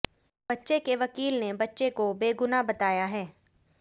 बच्चे के वकील ने बच्चे को बेगुनाह बताया है